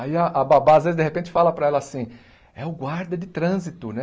Aí a a babá às vezes de repente fala para ela assim, é o guarda de trânsito, né?